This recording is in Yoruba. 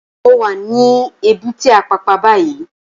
Mó wá ni ébùté Ápàpá bàyí